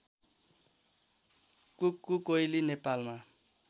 कुक्कु कोइली नेपालमा